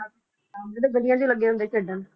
ਆਹੋ ਜਿਹੜੇ ਗਲੀਆਂ ਚ ਹੀ ਲੱਗੇ ਹੁੰਦੇ ਆ ਖੇਡਣ